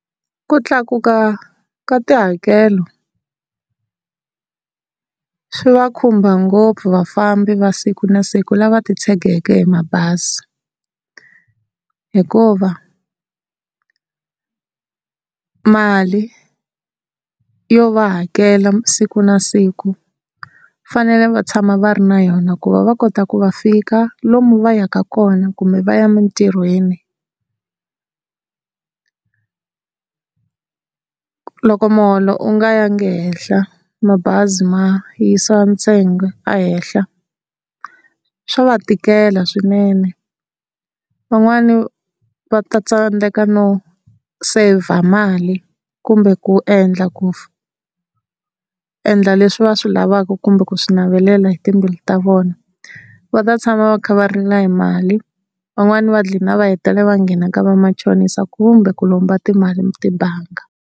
Ku tlakuka ka tihakelo, swi va khumba ngopfu vafambi va siku na siku lava titshegeke hi mabazi, hikuva, mali, yo va hakela siku na siku fanele va tshama va ri na yona ku va va kota ku va fika lomu va yaka kona kumbe va ya emintirhweni loko muholo u nga ya nge henhla mabazi ma yisa ntsengo a henhla swa va tikela swinene van'wani va ta tsandeka no saver mali kumbe ku endla ku endla leswi va swi lavaka kumbe ku swi navelela hi timbilu ta vona va ta tshama va kha va rila hi mali van'wani va gcina va hetelela va nghena ka va machonisa kumbe ku lomba timali tibangi.